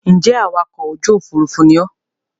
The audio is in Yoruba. Ń jẹ́ awakọ̀ ojú Òfurufú ni ọ́